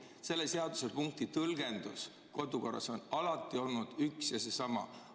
Selle seadusepunkti tõlgendus kodukorras on alati olnud üks ja seesama.